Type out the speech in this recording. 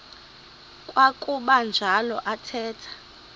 kwakuba njalo athetha